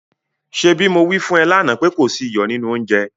ṣebí mo wí fún ẹ lánàá pé kò sí iyọ̀ nínú oúnjẹ?